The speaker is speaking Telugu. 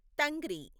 తంగ్రి